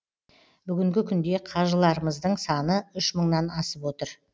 бүгінгі күнде қажыларымыздың саны үш мыңнан асып отыр